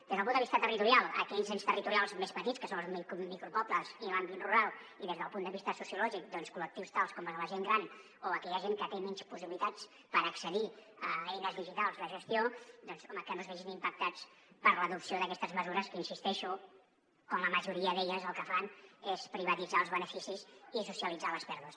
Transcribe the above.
des del punt de vista territorial aquells ens territorials més petits que són els micro·pobles i l’àmbit rural i des del punt de vista sociològic col·lectius tals com el de la gent gran o aquella gent que té menys possibilitats per accedir a eines digitals de gestió doncs home que no es vegin impactats per l’adopció d’aquestes mesures hi insisteixo quan la majoria d’elles el que fan és privatitzar els beneficis i socialitzar les pèrdues